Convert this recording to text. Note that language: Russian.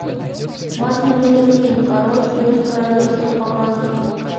мартин лютер кинг король без королевства показывай